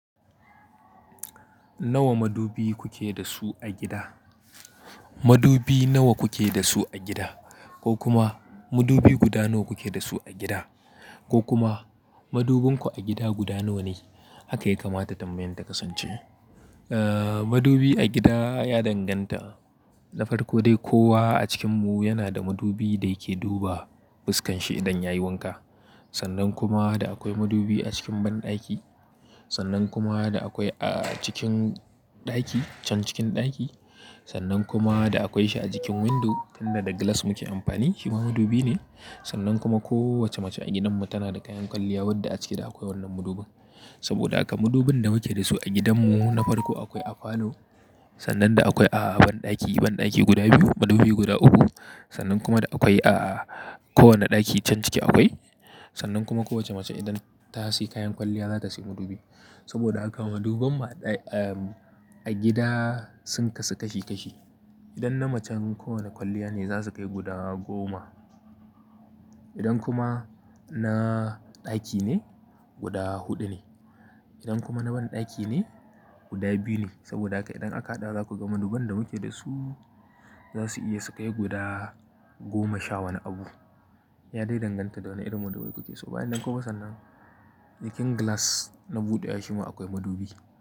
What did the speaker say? Nawa madubi kuke da su a gida? Madubi nawa kuke da su a gida ko kuma madubi guda nawa kuke da su a gida ko kuma madubinku a gida guda nawa ne? Haka ya kamata tambayan ta kasance. Eh madubi a gida ya danganta. Na farko dai kowa a cikinmu yana da madubi da yake duba fuskan shi idan yayi wanka. Sannan kuma da akwai madubi a cikin banɗaki. Sannan kuma da akwai a cikin ɗaki, can cikin ɗaki. Sannan kuma da akwai shi a jikin window, wannan da glass muke amfani shi ma madubi ne. Sannan kuma kowace mace a gidanmu tana da kayan kwalliya wadda a ciki da akwai wannan madubin. Saboda haka madubin da muke da su a gidanmu na farko akwai a falo. Sannan da akwai a banɗaki, banɗaki guda biyu madubi guda uku. Sannan kuma da akwai a kowane ɗaki can ciki akwai. Sannan kuma kowace mace idan ta sayi kayan kwalliya za ta sayi madubi. Saboda haka madubin mu a gida sun kasu kashi kashi. Idan na macen kowane kwalliya ne za su kai guda goma. Idan kuma na ɗaki ne guda huɗu ne. Idan kuma na banɗaki ne guda biyu ne. Saboda haka idan aka haɗa za ku ga maduban da muke da su za su iya su kai guda goma sha wani abu. Ya dai danganta da wane irin madubai kuke so. Bayan nan kuwa sannan cikin glass na buɗewa shi ma akwai madubi.